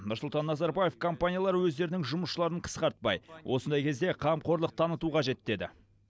нұрсұлтан назарбаев компаниялар өздерінің жұмысшыларын қысқартпай осындай кезде қамқорлық таныту қажет деді